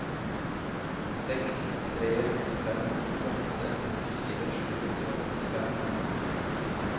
seks tre fem åtte nittifire sju hundre og åttifem